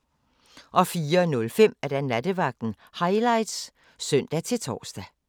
04:05: Nattevagten Highlights (søn-tor)